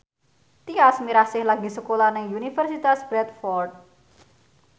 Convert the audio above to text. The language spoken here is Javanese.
Tyas Mirasih lagi sekolah nang Universitas Bradford